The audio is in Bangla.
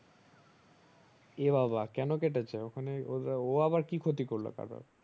এ বাবা কোনো কেটেছে ওখানে ও আবার কি ক্ষতি করলো কারোর